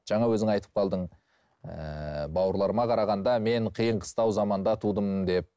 жаңа өзің айтып қалдың ыыы бауырларыма қарағанда мен қиын қыстау заманда тудым деп